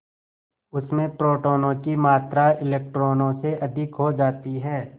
उसमें प्रोटोनों की मात्रा इलेक्ट्रॉनों से अधिक हो जाती है